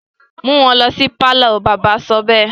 mú wọn lọ sí pálọ̀! bàbá sọ bẹ́ẹ̀.